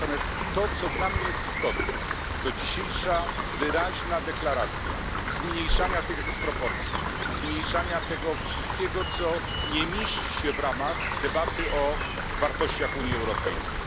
Natomiast to co dla mnie jest istotne, to dzisiejsza wyraźna deklaracja zmniejszenia tych dysproporcji, zmniejszania tego wszystkiego, co nie mieści się w ramach debaty o wartościach Unii Europejskiej.